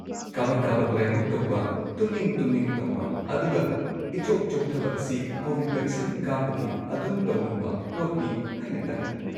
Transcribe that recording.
ꯀꯥꯕꯛ-ꯀꯥꯕꯛ ꯂꯥꯏꯍꯧ ꯇꯧꯕ, ꯇꯨꯝꯅꯤꯡ-ꯇꯨꯝꯅꯤꯡ ꯇꯧꯕ, ꯑꯗꯨꯒ ꯏꯆꯣꯛ-ꯆꯣꯛꯊꯕ ꯑꯁꯤ ꯀꯣꯕꯤꯗ ꯚꯦꯛꯁꯤꯟ ꯀꯥꯞꯄꯒꯤ ꯑꯗꯨꯝ ꯇꯧꯅꯕ ꯄꯣꯠꯅꯤ ꯍꯥꯏꯅ ꯇꯥꯏ꯫